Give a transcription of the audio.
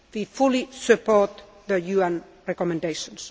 We fully support the UN recommendations.